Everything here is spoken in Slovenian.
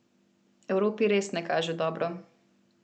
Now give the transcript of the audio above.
Evropi res ne kaže dobro.